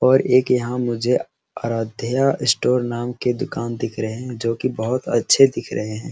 और एक यहाँ मुझे आराध्या स्टोर नाम के दुकान दिख रहे है जो की बहुत अच्छे दिख रहे है।